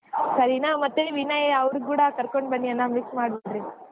ಸರಿನಾ ಮತ್ತೆ ವಿನಯ್ ಅವ್ರ ಕೂಡಾ ಕರ್ಕೊಂಡ್ ಬನ್ನಿ ಅಣ್ಣಾ miss ಮಾಡ್ಬೇಡಿ.